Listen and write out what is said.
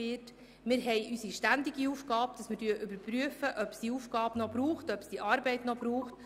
Wir haben die ständige Aufgabe, zu überprüfen, ob es eine bestimmte Arbeit noch braucht.